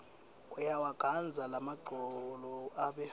uyawagandza lamagcolo abe